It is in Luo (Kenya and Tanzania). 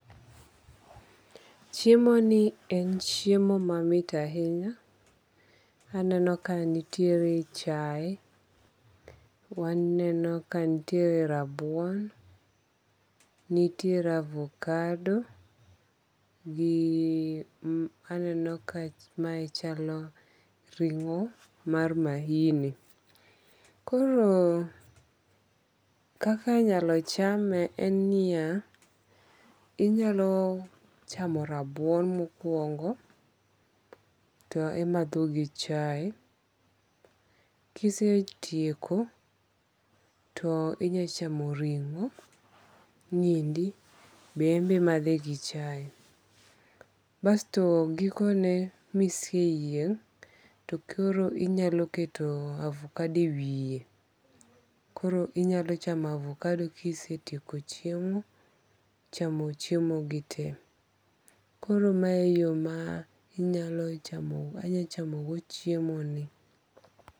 Chiemoni en chiemo mamit ahinya, aneno ka nitiere chae, waneno kanitiere rabuon, nitire avocado gi aneno ka mae chalo ringo' mar mahini koro kaka inyalo chame en niya inyalo chamo rabuon mokuongo' to imatho gichai kisetieko to inyalo chamo ringo' niendi be embe imathe gi chai basto gikone miseyieng' to koro inyalo keto avocado ewiye koro inyalo chamo avocado kisetieko chiemo, chamo chiemogi tee koro mae yo mar inyalo chamogo chiemogi .